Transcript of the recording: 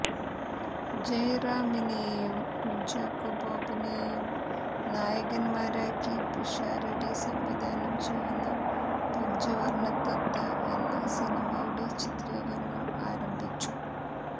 ജയറാമിനെയും കുഞ്ചാക്കോ ബോബനെയും നായകന്മാരാക്കി പിഷാരടി സംവിധാനം ചെയ്യുന്ന പഞ്ചവര്ണതത്ത എന്ന സിനിമയുടെ ചിത്രീകരണം ആരംഭിച്ചു